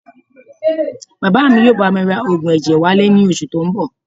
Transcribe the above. Bàbá mi yóò bá mi ra oògùn ẹ̀jẹ̀ wálé ní oṣù tó ń bọ̀